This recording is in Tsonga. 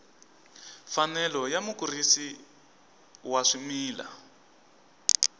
mfanelo ya mukurisi wa swimila